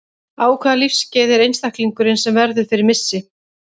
Á hvaða lífsskeiði er einstaklingurinn sem verður fyrir missi?